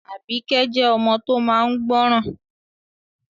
Àbíkẹ́ jẹ́ ọmọ tó máa n gbọ́ràn